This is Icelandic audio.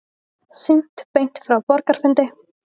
Sýnt beint frá borgarafundi